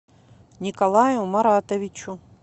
николаю маратовичу